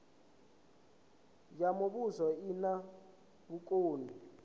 ya muvhuso i na vhukoni